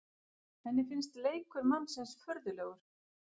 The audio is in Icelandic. Henni finnst leikur mannsins furðulegur.